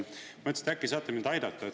Mõtlesin, et äkki saate mind aidata.